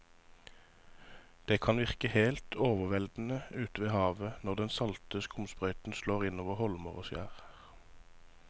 Det kan virke helt overveldende ute ved havet når den salte skumsprøyten slår innover holmer og skjær.